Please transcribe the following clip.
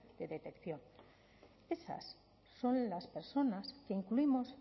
de detección esas son las personas que incluimos